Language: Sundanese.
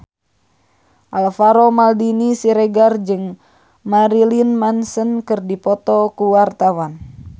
Alvaro Maldini Siregar jeung Marilyn Manson keur dipoto ku wartawan